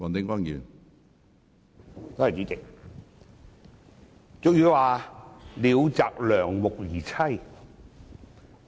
主席，俗語有云："鳥擇良木而棲"。